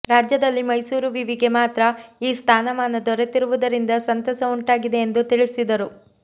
ರಾಜ್ಯದಲ್ಲಿ ಮೈಸೂರು ವಿವಿಗೆ ಮಾತ್ರ ಈ ಸ್ಥಾನಮಾನ ದೊರೆತಿರುವುದರಿಂದ ಸಂತಸ ಉಂಟಾಗಿದೆ ಎಂದು ತಿಳಿಸಿದರು